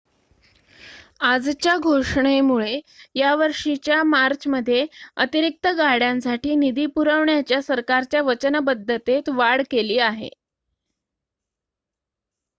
आजच्या घोषणेमुळे या वर्षीच्या मार्चमध्ये अतिरिक्त गाड्यांसाठी निधी पुरवण्याच्या सरकारच्या वचनबद्धतेत वाढ केली आहे